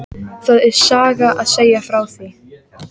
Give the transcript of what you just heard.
Það er saga að segja frá því.